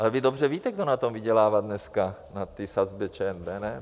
Ale vy dobře víte, kdo na tom vydělává dneska, na té sazbě ČNB, ne?